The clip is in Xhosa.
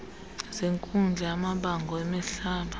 zenkundla yamabango emihlaba